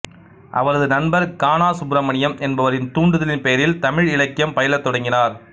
அவரது நண்பர் கானா சுப்பிரமணியம் என்பவரின் தூண்டுதலின் பெயரில் தமிழ் இலக்கியம் பயிலத் தொடங்கினார்